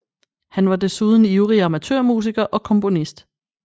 Han var desuden ivrig amatørmusiker og komponist